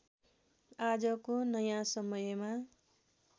आजको नँया समयमा